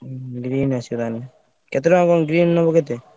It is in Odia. Green ଆସିବ ତାହେଲେ କେତେ ଟଙ୍କା କଣ green ନବ କେତେ?